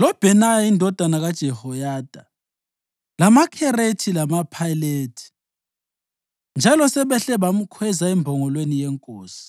loBhenaya indodana kaJehoyada, lamaKherethi lamaPhelethi, njalo sebehle bamkhweza embongolweni yenkosi.